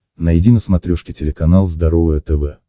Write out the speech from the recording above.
найди на смотрешке телеканал здоровое тв